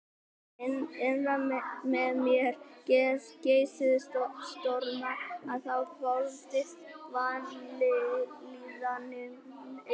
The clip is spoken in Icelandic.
Innra með mér geisuðu stormar og þá hvolfdist vanlíðanin yfir mig.